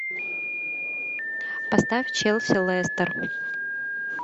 поставь челси лестер